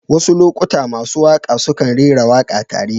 Wasu lokuta masu waƙa sukan rera waƙa tare.